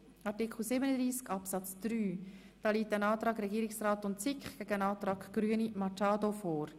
Hier liegen ein Antrag von Regierungsrat und SiK sowie ein Antrag Grüne vor.